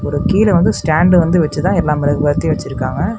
கீழ வந்து ஸ்டாண்ட் வந்து வச்சுதான் எல்லா மெழுகுவத்தியும் வச்சிருக்காங்க.